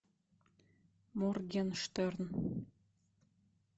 моргенштерн